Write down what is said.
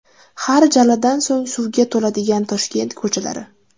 Har jaladan so‘ng suvga to‘ladigan Toshkent ko‘chalari.